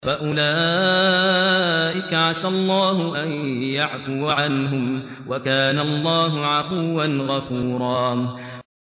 فَأُولَٰئِكَ عَسَى اللَّهُ أَن يَعْفُوَ عَنْهُمْ ۚ وَكَانَ اللَّهُ عَفُوًّا غَفُورًا